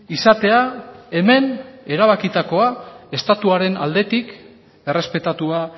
izatea hemen erabakitakoa estatuaren aldetik errespetatua